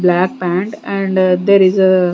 Black pant and there is a--